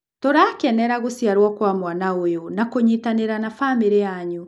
Tũrakenera gũciarwo kwa mwana ũyũ na kũnyitanĩra na famĩrĩ yanyu.